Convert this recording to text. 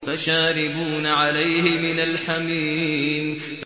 فَشَارِبُونَ عَلَيْهِ مِنَ الْحَمِيمِ